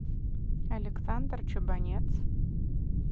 александр чубанец